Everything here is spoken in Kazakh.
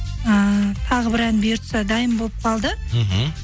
ыыы тағы бір ән бұйыртса дайын болып қалды мхм